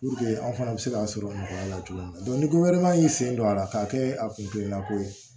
anw fana bɛ se k'a sɔrɔ nɔgɔya la cogo min na ni ko wɛrɛ man ɲi sen don a la k'a kɛ a kunna ko ye